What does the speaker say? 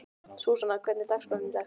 Súsanna, hvernig er dagskráin í dag?